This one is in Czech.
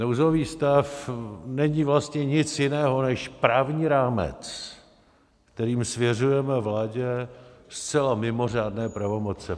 Nouzový stav není vlastně nic jiného než právní rámec, kterým svěřujeme vládě zcela mimořádné pravomoce.